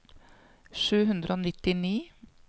sju hundre og nittini